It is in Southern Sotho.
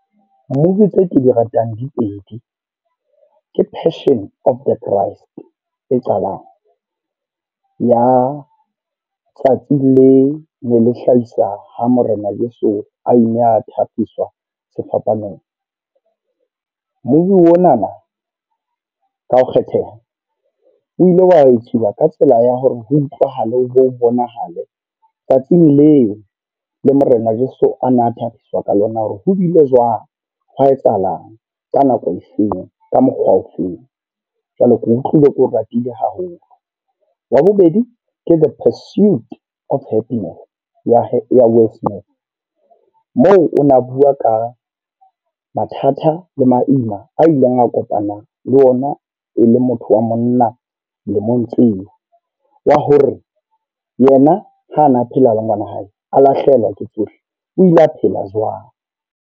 Movie tseo ke di ratang di pedi, ke Passion Of The Christ e qalang. Ya tsatsi le ne le hlahisa ha Morena Jeso a ne a thakgiswa sefapanong. Movie o na na ka ho kgetheha, o ile wa etsuwa ka tsela ya hore ho utlwahale le ho bonahale tsatsing leo le morena Jeso ana a thabiswa ka lona. Hore ho bile jwang, hwa etsahalang, ka nako efeng, ka mokgwa ofeng. Jwale ke utlwile ke ratile haholo. Wa bobedi ke The Pursuit Of Happiness ya Willy Smith. Moo o na bua ka mathata le maima a ileng a kopana ng le ona e le motho wa monna lemong tseo. Wa hore yena ha ana a phela le ngwana wa hae a lahlehelwa ke tsohle, o ile a phela jwang.